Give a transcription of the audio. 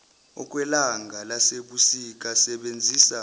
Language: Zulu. okwelanga lasebusika sezisaba